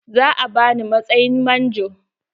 Za a bani matsayin manjo.